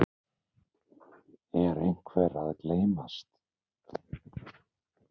Er einhver að gleymast?